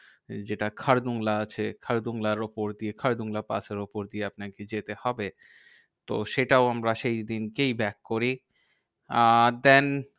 যেটা খারদুংলা আছে খারদুংলার উপর দিয়ে খারদুংলা পাস এর উপর দিয়ে আপনাকে যেতে হবে। তো সেটাও আমরা সেইদিনকেই back করি। আর প্যান